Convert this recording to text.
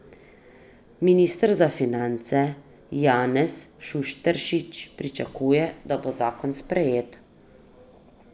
Minister za finance Janez Šušteršič pričakuje, da bo zakon sprejet.